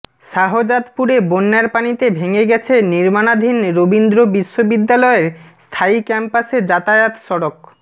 শাহজাদপুরে বন্যার পানিতে ভেঙ্গে গেছে নির্মাণাধীন রবীন্দ্র বিশ্ব বিদ্যালয়ের স্থায়ী ক্যাম্পাসে যাতায়াত সড়ক